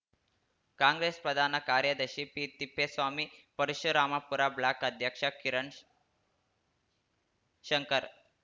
ಕಾಂಗ್ರೆಸ್‌ ಪ್ರಧಾನ ಕಾರ್ಯದರ್ಶಿ P Thippeswamy Parasurampura block ಅಧ್ಯಕ್ಷ ಕಿರಣ್‌ಶಂಕರ್‌